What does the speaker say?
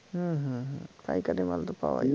হ্যা হ্যা হ্যা পাইকারি মাল তো পাওয়া যায়